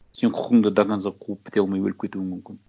сен құқыңды до конца қуып біте алмай өліп кетуің мүмкін